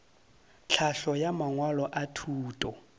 tlhahlo ya mangwalo a thuto